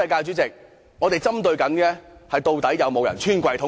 我重申，我們針對的是，究竟有沒有人"穿櫃桶底"？